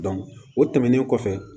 o tɛmɛnen kɔfɛ